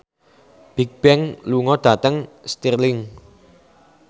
Bigbang lunga dhateng Stirling